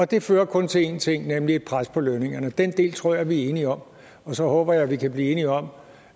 det fører kun til én ting nemlig et pres på lønningerne og den del tror jeg vi er enige om så håber jeg at vi kan blive enige om